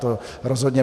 To rozhodně.